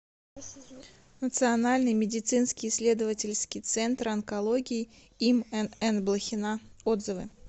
национальный медицинский исследовательский центр онкологии им нн блохина отзывы